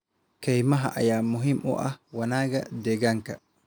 Kaymaha ayaa muhiim u ah wanaagga deegaanka.